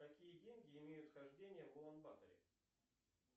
какие деньги имеют хождение в улан баторе